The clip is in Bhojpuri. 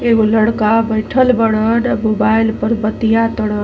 एगो लड़का बइठल बड़न। आ मोबाइल पर बतिया तड़ --